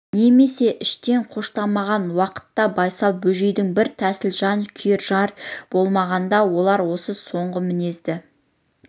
немесе іштен қоштамаған уақытта байсал бөжейдің бір тәсілі жан күйер жер болмағанда олар осы соңғы мінезді